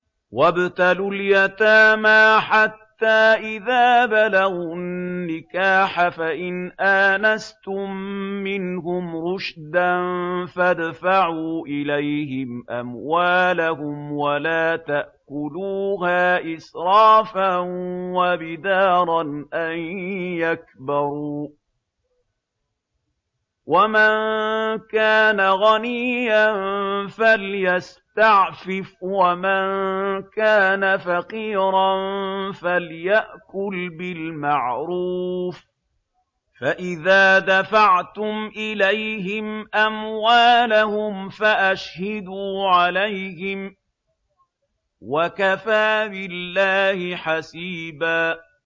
وَابْتَلُوا الْيَتَامَىٰ حَتَّىٰ إِذَا بَلَغُوا النِّكَاحَ فَإِنْ آنَسْتُم مِّنْهُمْ رُشْدًا فَادْفَعُوا إِلَيْهِمْ أَمْوَالَهُمْ ۖ وَلَا تَأْكُلُوهَا إِسْرَافًا وَبِدَارًا أَن يَكْبَرُوا ۚ وَمَن كَانَ غَنِيًّا فَلْيَسْتَعْفِفْ ۖ وَمَن كَانَ فَقِيرًا فَلْيَأْكُلْ بِالْمَعْرُوفِ ۚ فَإِذَا دَفَعْتُمْ إِلَيْهِمْ أَمْوَالَهُمْ فَأَشْهِدُوا عَلَيْهِمْ ۚ وَكَفَىٰ بِاللَّهِ حَسِيبًا